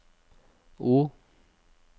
O